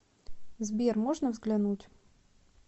сбер можно взглянуть